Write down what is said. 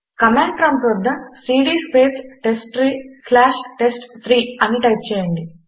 command prompt వద్ద CD space test tree slash test three అని type చేయండి